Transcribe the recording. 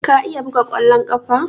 Ka iya buga ƙwallon ƙafa?